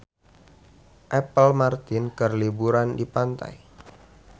Apple Martin keur liburan di pantai